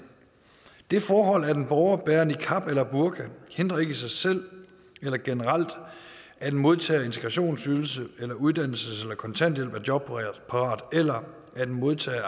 det forhold at en borger bærer niqab eller burka hindrer ikke i sig selv eller generelt at en modtager af integrationsydelse eller uddannelses eller kontanthjælp er jobparat eller at en modtager af